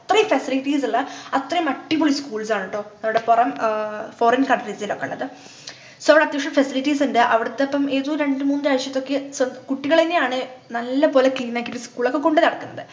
അത്രയും facilities ഉള്ള അത്രയും അടിപൊളി schools ആണുട്ടോ അവിടെ പൊറം ആഹ് Foreign countries ൽ ഒക്കെയുള്ളത് so അത്യാവശ്യം facilities ണ്ട് അവിടെത്തെ പ്പം ഏതോ രണ്ടുമൂന്നു രാജ്യത്തൊക്കെ so കുട്ടികളെന്നെയാണ് നല്ലപോലെ clean ആക്കീട്ടു school ഒക്കെ കൊണ്ടുനടക്കുന്നത്